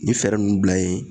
Nin fɛɛrɛ nunnu bila yen